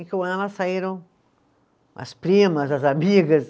E com ela saíram as primas, as amigas.